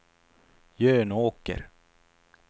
Jönåker